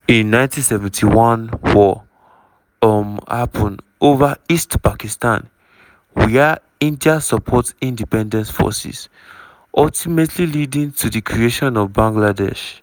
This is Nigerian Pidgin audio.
in 1971 war um happun ova east pakistan wia india support independence forces ultimately leading to di creation of bangladesh.